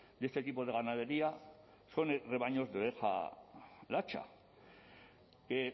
de este tipo de ganadería son rebaños de oveja latxa que